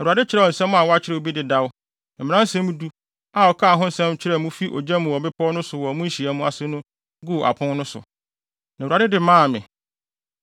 Awurade kyerɛw nsɛm a wakyerɛw bi dedaw, Mmaransɛm Du, a ɔkaa ho asɛm kyerɛɛ mo fi ogya mu wɔ bepɔw no so wɔ mo nhyiamu ase no guu apon no so. Na Awurade de maa me.